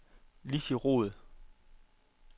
Lizzie Roed